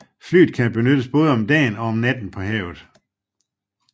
Flyet kan benyttes både om dagen og om natten på havet